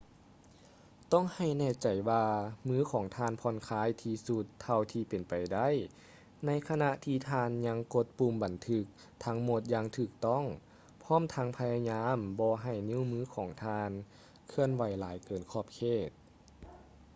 ຕ້ອງໃຫ້ແນ່ໃຈວ່າມືຂອງທ່ານຜ່ອນຄາຍທີ່ສຸດເທົ່າທີ່ເປັນໄປໄດ້ໃນຂະນະທີ່ທ່ານຍັງກົດປຸ່ມບັນທຶກທັງໝົດຢ່າງຖືກຕ້ອງ ພ້ອມທັງພະຍາຍາມບໍ່ໃຫ້ນິ້ວມືຂອງທ່ານເຄື່ອນໄຫວຫຼາຍເກີນຂອບເຂດ